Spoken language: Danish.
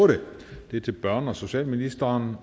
otte og det er til børne og socialministeren